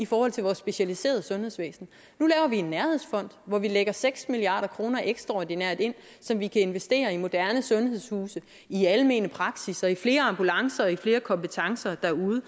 fond til vores specialiserede sundhedsvæsen nu laver vi en nærhedsfond hvor vi lægger seks milliard kroner ekstraordinært så de kan investere i en moderne sundhedshuse i almene praksisser i flere ambulancer i flere kompetencer derude